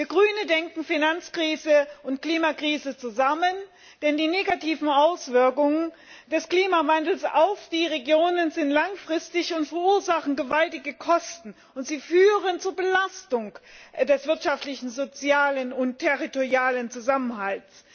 Wir als Grüne sehen die Finanzkrise und die Klimakrise im Zusammenhang, denn die negativen Auswirkungen des Klimawandels auf die Regionen sind langfristig und verursachen gewaltige Kosten. Sie führen zur Belastung des wirtschaftlichen, sozialen und territorialen Zusammenhalts.